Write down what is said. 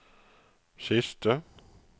siste